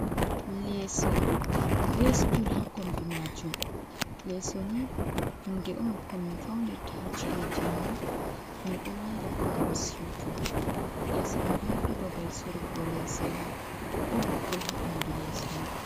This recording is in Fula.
Leso be stul ha kombi majum, lesoni hunde on komin faunirta ha chi'eji amin, minɗo wala bo ngam siutugo, leso ɗoni ɗo babal sorugo lese on, ɗon popul ha ɓandu leso man.